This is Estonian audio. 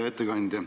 Hea ettekandja!